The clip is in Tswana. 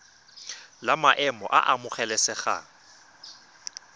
la maemo a a amogelesegang